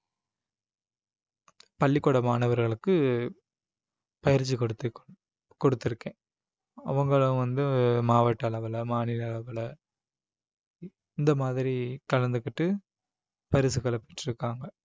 பள்ளிக்கூட மாணவர்களுக்கு பயிற்சி கொடுத்து கொடுத்திருக்கேன் அவங்களும் வந்து மாவட்ட அளவுல மாநில அளவுல இந்த மாதிரி கலந்துக்கிட்டு பரிசுகளை பெற்று இருக்காங்க